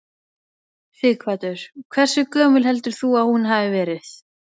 Sighvatur: Hversu gömul heldur þú að hún hafi verið?